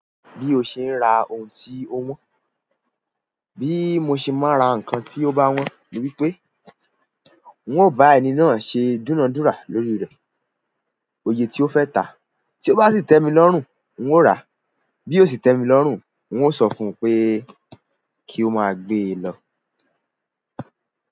Bí o ṣe ń ra ohun tí ó wọ́n, bí mo ṣe máa n ra nǹkan tí ó bá wọ́n ni wípé n ò bá ẹni náà ṣe dunadúra lórí rẹ̀, òye tí ó fẹ́ tà a. Tí ó bá sì tẹ́ mi lọ́rùn, n ó ràá. Bí ó sì tẹ́ mi lọ́rùn, n ó sọ fún un pé kí ó máa gbé e lọ.